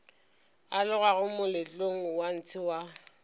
alogago moletlong wa ntshe wa